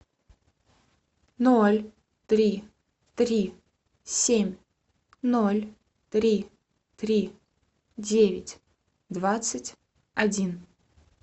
ноль три три семь ноль три три девять двадцать один